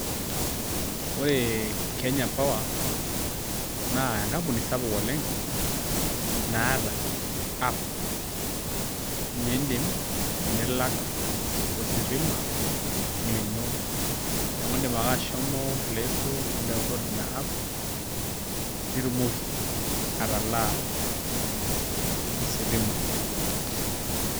Ore Kenya Power naa enkampuni sapuk oleng' naata app niindim nilak ositima lino, neeku indip ake ashomo playstore nindownload ina app nitumoki atalaa ositima.